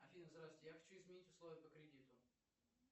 афина здравствуйте я хочу изменить условия по кредиту